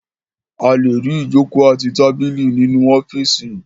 A le rí ìjókòó àti tábìlì nínú ọ́fíísì.